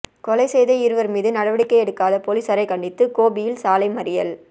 கொலை செய்த இருவர் மீது நடவடிக்கை எடுக்காத போலீசாரை கண்டித்து கோபியில் சாலை மறியல்